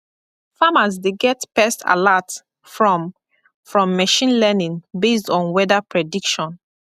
farmers dey get pest alert from from machine learning based on weather prediction